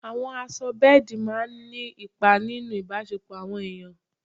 Àwọ̀ aṣọ bẹ́ẹ̀dì máa ń nípa nínú ìbáṣẹpọ̀ àwọn èèyàn.